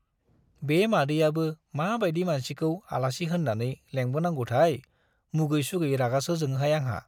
बे मादैयाबो मा बाइदि मानसिखौ आलासि होन्नानै लेंबोनांगौथाय, मुगै सुगै रागासो जोङोहाय आंहा।